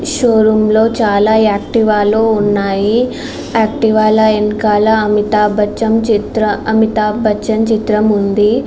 Show room లోనే చాలా యాక్టివలు ఉన్నాయి. యాక్టివాలు వెనకాల అమితాబచ్చన్ అమితాబచ్చన్ చిత్రం ఉంది.